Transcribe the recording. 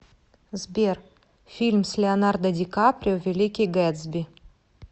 сбер фильм с леонардо ди каприо великий гэтсби